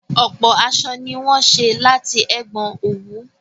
Ọ̀pọ̀ aṣọ ni wọ́n ṣé láti ẹ̀gbọn òwú